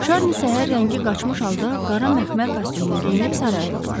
Şarni səhər rəngi qaçmış halda qara məxmər kostyumunu geyinib saraya yollandı.